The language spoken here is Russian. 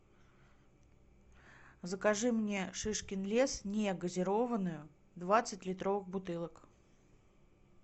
закажи мне шишкин лес негазированную двадцать литровых бутылок